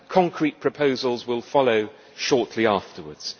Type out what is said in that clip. Concrete proposals will follow shortly afterwards.